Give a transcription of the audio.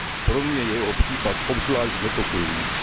Pro mě je jeho případ obzvlášť znepokojující.